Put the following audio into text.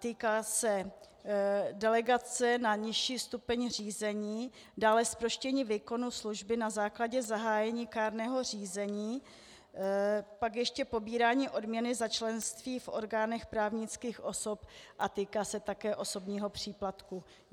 Týká se delegace na nižší stupeň řízení, dále zproštění výkonu služby na základě zahájení kárného řízení, pak ještě pobírání odměny za členství v orgánech právnických osob a týká se také osobního příplatku.